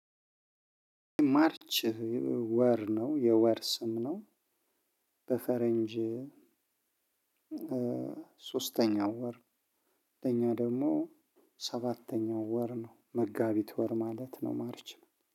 ማርች ወር ነው የወር ስም ነው። በፈረንጅ ሶስተኛ ወር። እኛ ደግሞ ሰባተኛው ወር ነው መጋቢት ወር ማለት ነው። ማርች ነው